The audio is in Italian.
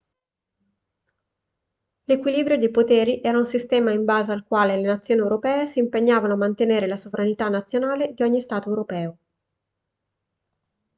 l'equilibrio dei poteri era un sistema in base al quale le nazioni europee si impegnavano a mantenere la sovranità nazionale di ogni stato europeo